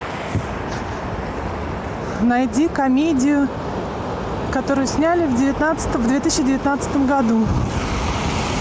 найди комедию которую сняли в две тысячи девятнадцатом году